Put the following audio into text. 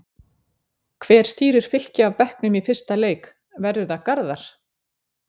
Hver stýrir Fylki af bekknum í fyrsta leik, verður það Garðar?